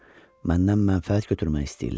Məndən mənfəət götürmək istəyirlər.